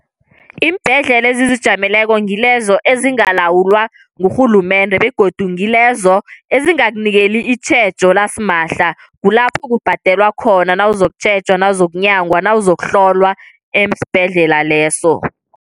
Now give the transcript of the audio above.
Iimbhedlela ezizijameleko ngilezo ezingalawulwa ngurhulumende, begodu ngilezo ezingakunikeli itjhejo lasimahla. Kulapho kubhadelwa khona nawuzokutjhejwa, nawuzokunyangwa, nawozokuhlolwa esibhedlela leso.